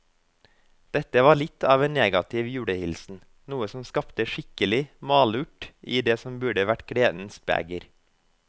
Dette var litt av en negativ julehilsen, noe som skapte skikkelig malurt i det som burde vært gledens beger.